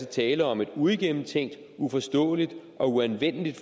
tale om et uigennemtænkt uforståeligt og uanvendeligt